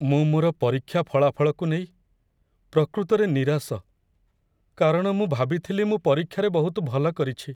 ମୁଁ ମୋର ପରୀକ୍ଷା ଫଳାଫଳକୁ ନେଇ ପ୍ରକୃତରେ ନିରାଶ, କାରଣ ମୁଁ ଭାବିଥିଲି ମୁଁ ପରୀକ୍ଷାରେ ବହୁତ ଭଲ କରିଛି।